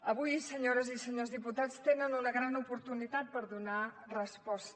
avui senyores i senyors diputats tenen una gran oportunitat per donar hi resposta